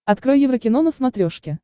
открой еврокино на смотрешке